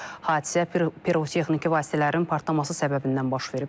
Hadisə pirotexniki vasitələrin partlaması səbəbindən baş verib.